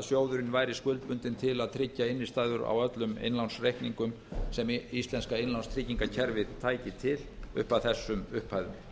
að sjóðurinn væri skuldbundinn til að tryggja innistæður á öllum innlánsreikningum sem íslenska innlánstryggingakerfið tæki til upp að þessum upphæðum